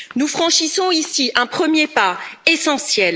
Nous franchissons ici un premier pas essentiel.